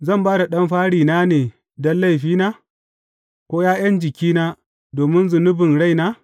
Zan ba da ɗan farina ne don laifina, ko ’ya’yan jikina domin zunubin raina?